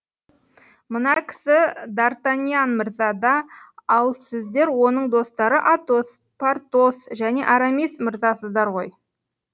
мына кісі д артаньян мырза да ал сіздер оның достары атос портос және арамис мырзасыздар ғой